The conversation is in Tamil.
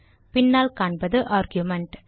பின்னால் காண்பது ஆர்குமென்ட்